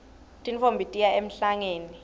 tintfombi tiya emhlangeni